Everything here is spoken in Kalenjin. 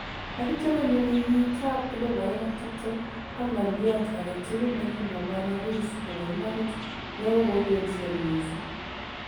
Agitio konyo keyiit ab 2020 ak ngoliot agetugul nengimwa bwana Rees neboimanit neogogensien mising'.